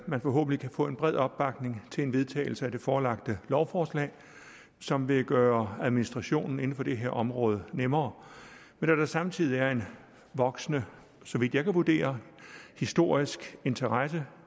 man forhåbentlig kan få en bred opbakning til en vedtagelse af det forelagte lovforslag som vil gøre administrationen inden for det her område nemmere men da der samtidig er en voksende så vidt jeg kan vurdere historisk interesse